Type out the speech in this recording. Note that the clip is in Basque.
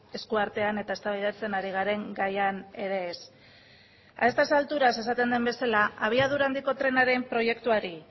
esku artean eta eztabaidatzen ari garen gaian ere ez a estas alturas esaten den bezala abiadura handiko trenaren proiektuari